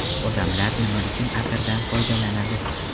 Odamlar nima uchun atirdan foydalanadi?